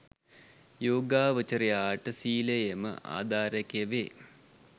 යෝගාවචරයාට සීලයම ආධාරකය වේ.